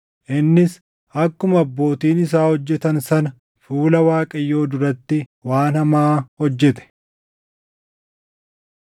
Innis akkuma abbootiin isaa hojjetan sana fuula Waaqayyoo duratti waan hamaa hojjete.